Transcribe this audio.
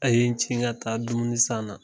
A ye n ka taa dumunisan na.